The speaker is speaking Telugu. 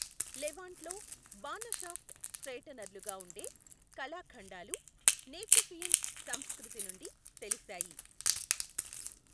లెవాంట్లో, బాణ షాఫ్ట్ స్ట్రెయిటెనర్లుగా ఉండే కళాఖండాలు నేచుఫియన్ సంస్కృతి నుండి తెలిశాయి.